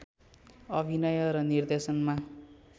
अभिनय र निर्देशनमा